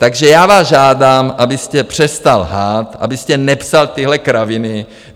Takže já vás žádám, abyste přestal lhát, abyste nepsal tyhle kraviny.